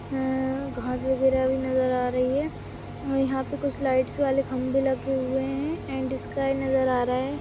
हम्म्म घास वगैरे भी नजर आ रही है अ यहाँ पे कुछ लाइट्स वाले खम्बे लगे हुए है एंड स्काय नज़र आ रहा है।